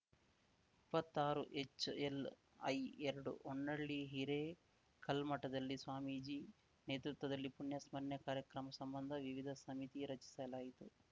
ಇಪ್ಪತ್ತಾರುಎಚ್‌ಎಲ್‌ಐಎರಡು ಹೊನ್ನಳಿ ಹಿರೇಕಲ್ಮಠದಲ್ಲಿ ಸ್ವಾಮೀಜಿ ನೇತೃತ್ವದಲ್ಲಿ ಪುಣ್ಯಸ್ಮರಣೆ ಕಾರ್ಯಕ್ರಮ ಸಂಬಂಧ ವಿವಿಧ ಸಮಿತಿ ರಚಿಸಲಾಯಿತು